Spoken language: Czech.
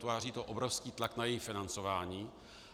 Vytváří to obrovský tlak na její financování.